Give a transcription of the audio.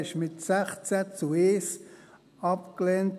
Dieser wurde mit 16 zu 1 abgelehnt.